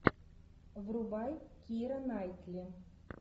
врубай кира найтли